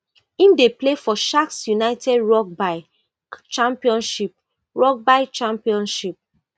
im dey play for sharks united rugby championship rugby championship